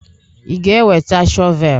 Ị ga-eweta shọvel?